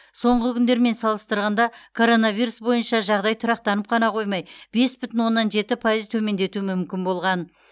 соңғы күндермен салыстырғанда коронавирус бойынша жағдай тұрақтанып қана қоймай бес бүтін оннан жетпі пайыз төмендету мүмкін болған